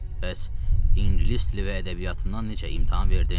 Bəs ingilis dili və ədəbiyyatından necə imtahan verdin?